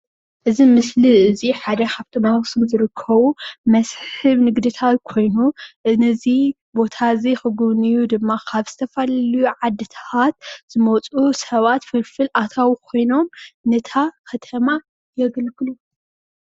እዚ ምስሊ እዚ ሓደ ካብቶም ኣብ ኣክሱም ዝርከቡ መስሕብ ንግድታት ኮይኑ ነዚ ቦታ እዚ ክጉብንዩ ድማኒ ካብ ዝተፈላለዩ ዓድታት ዝመፁ ሰባት ፍልፍል ኣታዊ ኮይኖም ነታ ከተማ የገልግሉ፡፡